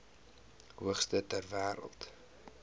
hoogste ter wêreld